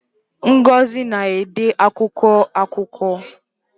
Ngozi na-ede akwụkwọ akụkọ.